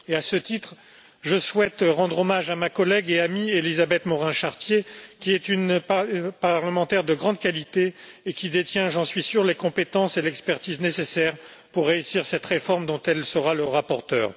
À ce titre, je souhaite rendre hommage à ma collègue et amie Élisabeth Morin Chartier, qui est une parlementaire de grande qualité et qui détient, j'en suis sûr, les compétences et l'expertise nécessaires pour réussir cette réforme, dont elle sera le rapporteur.